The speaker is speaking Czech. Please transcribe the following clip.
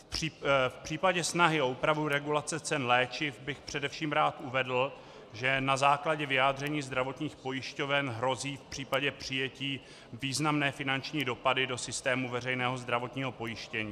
V případě snahy o úpravu regulace cen léčiv bych především rád uvedl, že na základě vyjádření zdravotních pojišťoven hrozí v případě přijetí významné finanční dopady do systému veřejného zdravotního pojištění.